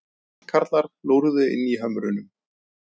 Tröllkarlar lúrðu inni í hömrunum.